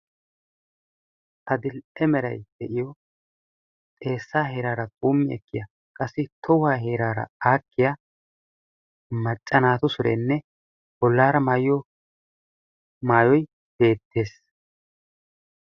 Adil''e meray de'iyo xeessaa heeraara qumbbatiya qassi tohuwaa heeraara aakkiya macca naatu sureenne bollaara maayiyo maayoy beettees.